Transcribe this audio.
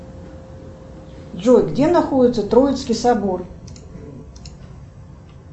джой где находится троицкий собор